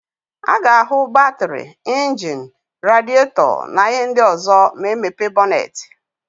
A ga-áhụ̀ batịrị, injini, radietọ na íhé ndị ọ̀zọ́ ma e mepe bọnetị.